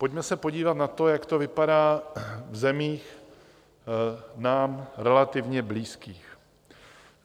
Pojďme se podívat na to, jak to vypadá v zemích nám relativně blízkých.